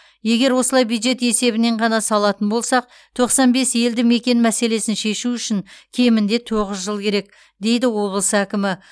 егер осылай бюджет есебінен ғана салатын болсақ тоқсан бес елді мекен мәселесін шешу үшін кемінде тоғыз жыл керек дейді облыс әкімі